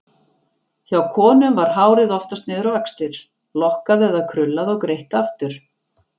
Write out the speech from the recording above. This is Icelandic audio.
Hjá konum var hárið oftast niður á axlir, lokkað eða krullað og greitt aftur.